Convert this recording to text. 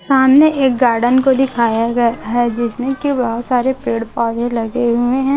सामने एक गार्डन को दिखाया गया है जिसमें की बहोत सारे पेड़ पौधे लगे हुए हैं।